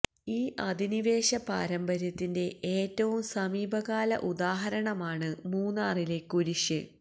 ഈ അധിനിവേശ പാരമ്പര്യത്തിന്റെ ഏറ്റവും സമീപകാല ഉദാഹരണമാണ് മൂന്നാറിലെ കുരിശ്